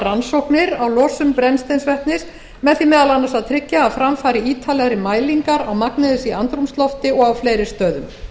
rannsóknir á losun brennisteinsvetnis með því meðal annars að tryggja að fram fari ítarlegri mælingar á magni þess í andrúmslofti og á fleiri stöðum